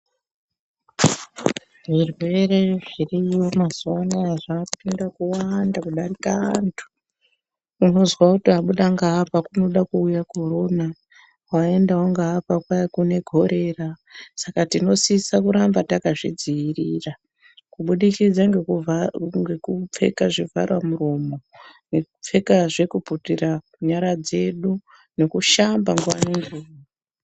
Zvirwere zviriyo mazuva anaya zvapinda kuwanda kudarika vantu. Unozwa kuti abuda ngaapa kunoda kuuya Korona. Waendawo ngaapa kwai kune Korera, saka tinosisa kuramba takazvidziirira kubudikidza ngekupfeka zvivharamuromo, ngekupfekazve kuputira nyara dzedu nekushamba nguva ngenguva.